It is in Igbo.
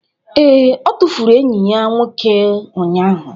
Ee, ọ tụfuru enyi ya nwoke ụnyahụ